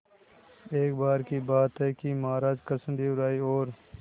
एक बार की बात है कि महाराज कृष्णदेव राय और